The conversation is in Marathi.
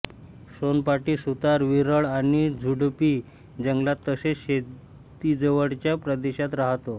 सोनपाठी सुतार विरळ आणि झुडपी जंगलात तसेच शेतीजवळच्या प्रदेशात राहतो